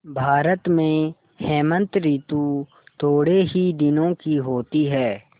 भारत में हेमंत ॠतु थोड़े ही दिनों की होती है